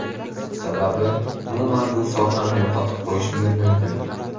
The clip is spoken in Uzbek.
Sababi, umuman bu sohani yo‘qotib qo‘yishimiz mumkin.